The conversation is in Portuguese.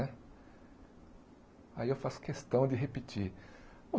Aí eu faço questão de repetir.